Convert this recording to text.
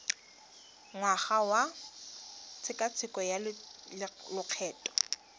ngwaga wa tshekatsheko ya lokgetho